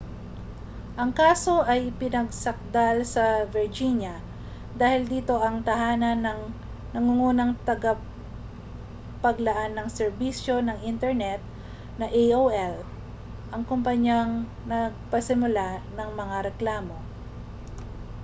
ang kaso ay ipinagsakdal sa virginia dahil dito ang tahanan ng nangungunang tagapaglaan ng serbisyo ng internet na aol ang kompanyang nagpasimula ng mga reklamo